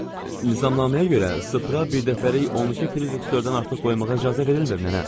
Nizamnaməyə görə sıfıra birdəfəlik 12 firitərsdən artıq qoymağa icazə verilmir nənə.